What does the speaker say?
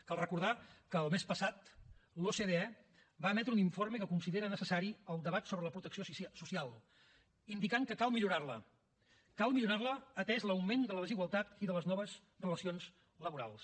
cal recordar que el mes passat l’ocde va emetre un informe que considera necessari el debat sobre la protecció social indicant que cal millorar la cal millorar la atès l’augment de la desigualtat i de les noves relacions laborals